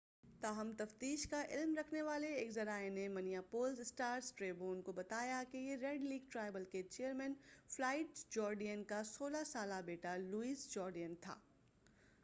تاہم تفتیش کا علم رکھنے والے ایک ذرائع نے منیاپولس اسٹار ٹریبیون کو بتایا کہ یہ ریڈ لیک ٹرائبل کے چیئرمین فلائیڈ جورڈین کا 16 سالہ بیٹا لوئس جورڈین تھا